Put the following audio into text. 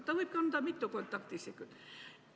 Ta võib anda ka mitu kontaktisikut.